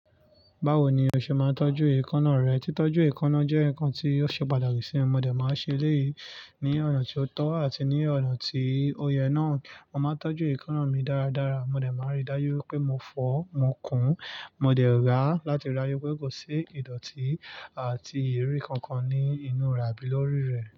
Bawo ni o ṣe máa ń tọ́jú èékánná rẹ? Títọ́jú èékánná jẹ́ nǹkan tí ó ṣe pàtàkì sì mi. Mo dẹ̀ máa ń ṣe léyìí ní ọ̀nà tí ó tọ́ àti ní ọ̀nà tí ó yẹ náà. Mo máa ń tọ́jú èékánná mi dáradára. Mo dẹ̀ máa ń rí dájú pé mo fọ̀ ọ́, mo kùn ún, mo dẹ̀ rà á láti ráyè pé kò sí ìdọ̀tí àti ìrírí kankan ní inú rẹ̀ àbí lórí rẹ̀